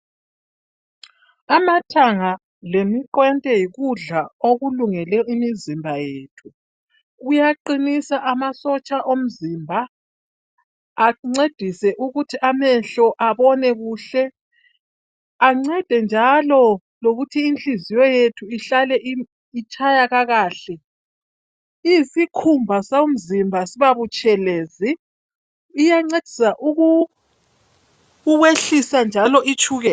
Amathanga lemiqwente yikudla okulungele imizimba yethu kuyaqinisa amasotsha omzimba ancedise ukuthi amehlo abone kuhle ancede njalo lokuthi inhliziyo yethu ihlale itshaya kakahle, isikhumba somzimba siba butshelezi iyancedisa ukukwehlisa njalo i tshukela.